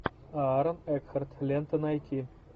аарон экхарт лента найти